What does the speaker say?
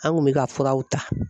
An kun bɛ ka furaw ta